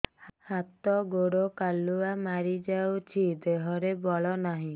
ହାତ ଗୋଡ଼ କାଲୁଆ ମାରି ଯାଉଛି ଦେହରେ ବଳ ନାହିଁ